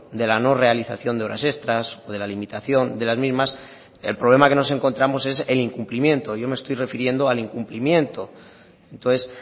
de la no realización de horas extras o de la limitación de las mismas el problema que nos encontramos es el incumplimiento yo me estoy refiriendo al incumplimiento entonces